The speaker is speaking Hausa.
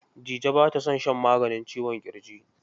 Dije ba ta son shan maganin ciwon ƙirji.